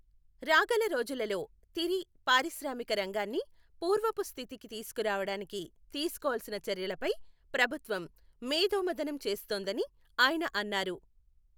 రాగల రోజులలో తిరి పారిశ్రామిక రంగాన్ని పూర్వపు స్థితికి తీసుకురావడానికి తీసుకోవలసిన చర్యలపై ప్రభుత్వం మేథోమథనం చేస్తోందని ఆయన అన్నారు.